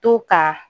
To ka